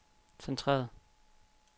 centreret